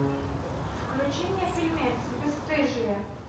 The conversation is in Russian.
включи мне фильмец бесстыжие